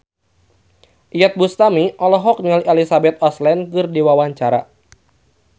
Iyeth Bustami olohok ningali Elizabeth Olsen keur diwawancara